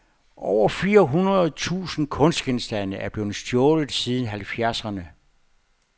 Over fire hundrede tusind kunstgenstande er blevet stjålet siden halvfjerdserne.